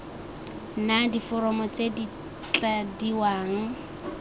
na diforomo tse di tladiwang